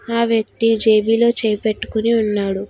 ఆ వ్యక్తి జేబిలో చేయి పెట్టుకుని ఉన్నాడు.